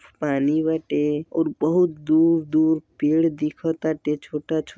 पानी बाटे और बहुत दूर-दूर पेड़ दिख ताटे छोटा छो --